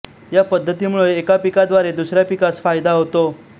या पद्धतीमुळे एका पिकाद्वारे दुसऱ्या पिकास फायदा होतो